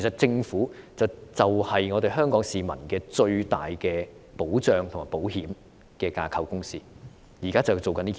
政府就是香港市民最大的保障和保險架構，現在就是要做這件事。